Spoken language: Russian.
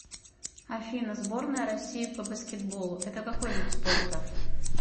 афина сборная россии по баскетболу это какой вид спорта